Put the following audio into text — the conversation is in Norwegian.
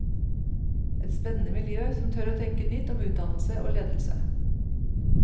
Et spennende miljø, som tør å tenke nytt om utdannelse og ledelse.